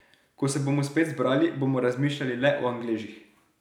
Ko se bomo spet zbrali, bomo razmišljali le o Angležih.